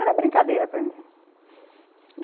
Era brincadeira para mim, uhum.